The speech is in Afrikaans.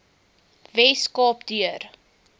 wes kaap deur